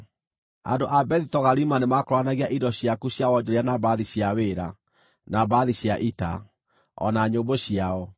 “ ‘Andũ a Bethi-Togarima nĩmakũũranagia indo ciaku cia wonjoria na mbarathi cia wĩra, na mbarathi cia ita, o na nyũmbũ ciao.